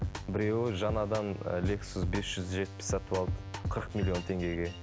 біреуі жаңадан ы лексус бес жүз жетпіс сатып алды қырық миллион теңгеге